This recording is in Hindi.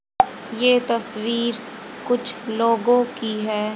ये तस्वीर कुछ लोगों की है।